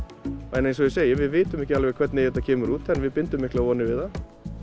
en eins og ég segi við vitum ekki alveg hvernig þetta kemur út en við bindum miklar vonir við það